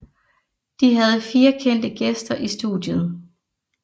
De havde fire kendte gæster i studiet